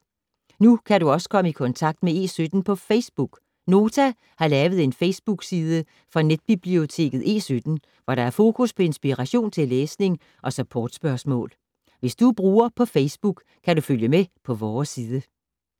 Nu kan du også komme i kontakt med E17 på Facebook! Nota har lavet en Facebook-side for netbiblioteket E17, hvor der er fokus på inspiration til læsning og support-spørgsmål. Hvis du er bruger på Facebook, kan du følge med på vores side.